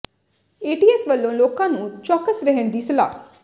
ਏ T S ਵੱਲੋਂ ਲੋਕਾਂ ਨੂੰ ਚੌਕਸ ਰਹਿਣ ਦੀ ਸਲਾਹ